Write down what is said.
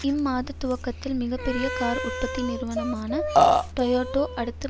இம்மாதத் துவக்கத்தில் மிக பெரிய கார் உற்பத்தி நிறுவனமான டோயோட்டோ அடுத்த